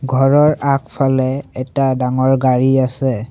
ঘৰৰ আগফালে এটা ডাঙৰ গাড়ী আছে।